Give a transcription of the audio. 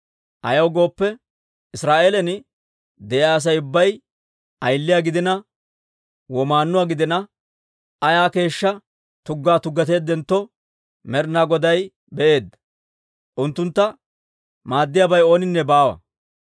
Ayaw gooppe, Israa'eelan de'iyaa Asay ubbay ayiliyaa gidina, womaannuwaa gidina, ayaa keeshshaa tuggaa tuggateeddentto, Med'ina Goday be'eedda; unttuntta maaddiyaabay ooninne baawa.